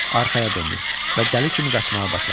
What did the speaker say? Arxaya döndü və dəli kimi qaçmağa başladı.